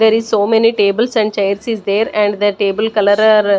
There is so many tables and chairs is there and the table colour are--